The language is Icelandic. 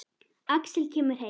Axel kemur heim.